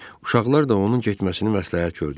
Uşaqlar da onun getməsini məsləhət gördülər.